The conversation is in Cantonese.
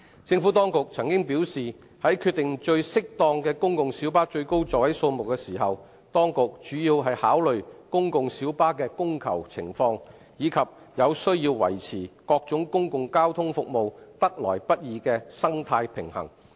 政府當局曾表示，在決定公共小巴最適當的最高座位數目時，當局主要考慮公共小巴的供求情況，以及有需要維持各種公共交通服務得來不易的生態平衡。